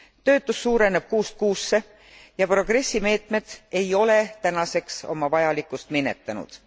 Töötus suureneb kuust kuusse ja Progressi meetmed ei ole tänaseks oma vajalikkust minetanud.